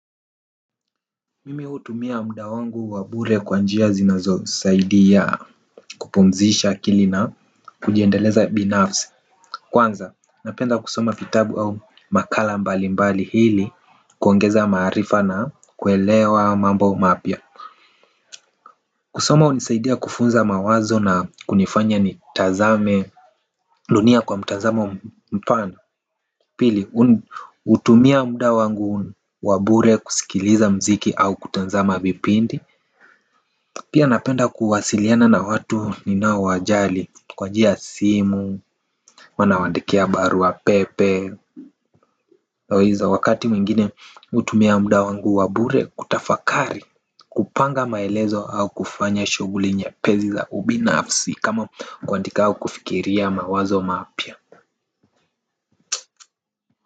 Mimi hutumia muda wangu wa bure kwa njia zinazosaidia kupumzisha akili na kujiendeleza binafsi kwanza napenda kusoma vitabu au makala mbali mbali ili kuongeza maarifa na kuelewa mambo mapya kusoma hunisaidia kufunza mawazo na kunifanya nitazame dunia kwa mtazamo mpana. Pili, hutumia muda wangu wa bure kusikiliza muziki au kutazama vipindi. Pia napenda kuwasiliana na watu ninaowajali. Kwa njia ya simu, huwa nawaandikia barua pepe. Wakati mwingine hutumia muda wangu wa bure kutafakari kupanga maelezo au kufanya shughuli nyepesi za ubinafsi kama kuandika au kufikiria mawazo mapya.